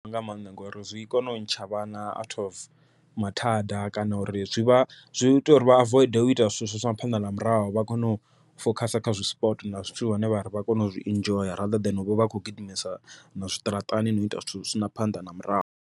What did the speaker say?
nga maanḓa ngori zwi kona u ntsha vhana out of mathada kana uri zwi vha zwi ita uri vha avoid u ita zwithu zwi sina phanḓa na murahu, vha kone u fokhasa kha zwi sport na zwithu zwine vha ri vha kona u zwinzhi u zwi enjoy rather than uvha a kho gidimisana zwiṱaraṱani na u ita zwithu zwi sina phanḓa na murahu.